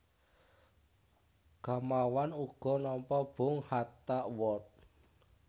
Gamawan uga nampa Bung Hatta Award